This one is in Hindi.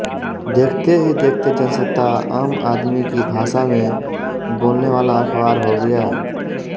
देखते ही देखते जनसत्ता आम आदमी की भाषा में बोलनेवाला अखबार हो गया